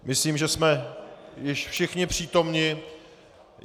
Myslím, že jsme už všichni přítomni.